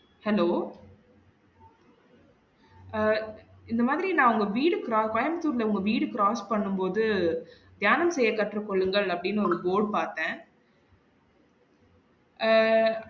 Hello அஹ் இந்த மாதிரி நா உங்க வீடு cro~ கோயம்பத்தூர் ல உங்க வீடு cross பண்ணும் போது தியானம் செய்ய கற்றுக்கொள்ளுங்கள் அப்டின்னு ஒரு board பாத்தன் அஹ்